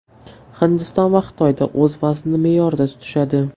Hindiston va Xitoyda o‘z vaznini me’yorida tutishadi.